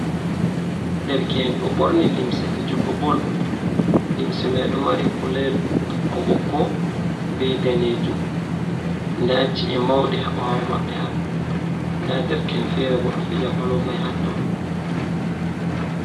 derke'en do borni limse fijugo bol, limse mai do mari kulari bokko bokko be danejum da ci’e maudi habawo mabbe da derke'en fere bo do fija balon may hatto.